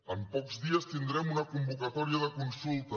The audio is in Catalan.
en pocs dies tindrem una convocatòria de consulta